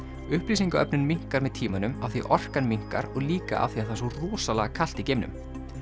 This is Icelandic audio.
upplýsingaöflun minnkar með tímanum af því orkan minnkar og líka af því það er svo rosalega kalt í geimnum